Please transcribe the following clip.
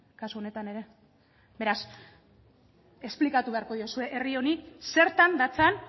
kasu honetan ere beraz esplikatu beharko diozue herri honi zertan datzan